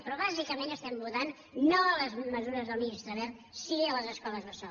però bàsicament estem votant no a les mesures del ministre wert sí a les escoles bressol